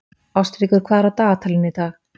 Ástríkur, hvað er á dagatalinu í dag?